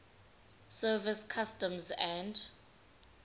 service customs and